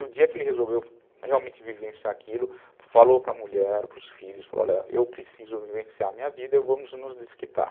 E o dia que ele resolveu realmente vivenciar aquilo, falou para a mulher, para os filhos, falou, olha, eu preciso vivenciar a minha vida e vamos nos desquitar.